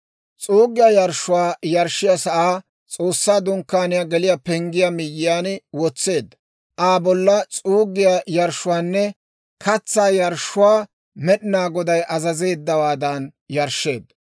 S'uuggiyaa yarshshuwaa yarshshiyaa sa'aa S'oossaa Dunkkaaniyaa geliyaa penggiyaa miyiyaan wotseedda; Aa bolla s'uuggiyaa yarshshuwaanne katsaa yarshshuwaa Med'inaa Goday azazeeddawaadan yarshsheedda.